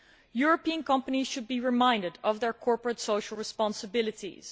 European companies should be reminded of their corporate social responsibilities.